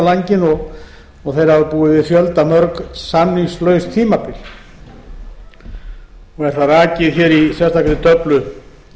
á langinn og þeir hafa búið við fjöldamörg samningslaus tímabil og er það rakið í sérstakri töflu